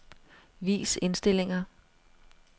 Vis indstillinger.